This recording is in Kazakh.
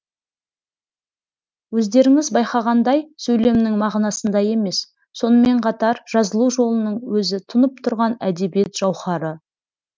өздеріңіз байқағандай сөйлемнің мағынасында емес сонымен қатар жазылу жолының өзі тұнып тұрған әдебиет жауһары